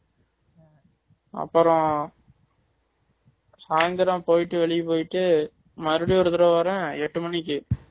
அப்பறம் சாய்ந்தரம் போயிட்டு வெளிய போயிட்டு மறுபடியும் ஒரு தரம் வறேன் எட்டு மணிக்கு